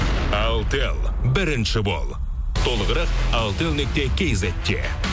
алтел бірінші бол толығырық алтел нүкте кизетте